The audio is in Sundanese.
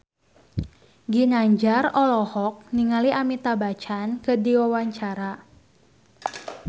Ginanjar olohok ningali Amitabh Bachchan keur diwawancara